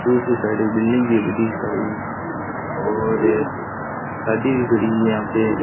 दूसरे साइड एक बिल्डिंग ही बिल्डिंग के साइड और गाड़ी भी खड़ी हुई यहां पे।